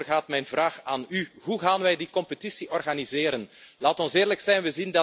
En daarover gaat mijn vraag aan u. Hoe gaan wij die competitie organiseren? Laten we eerlijk zijn.